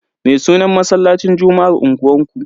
Me sunan masallacin juma'ar unguwanku?